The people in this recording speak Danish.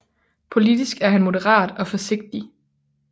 Politisk er han moderat og forsigtig